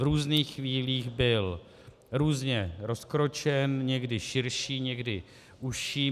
V různých chvílích byl různě rozkročen, někdy širší, někdy užší.